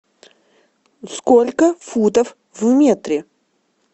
сколько футов в метре